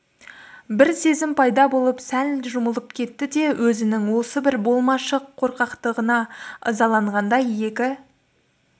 бір сезім пайда болып сәл жұмылып кетті де өзінің осы бір болмашы қорқақтығына ызаланғандай екі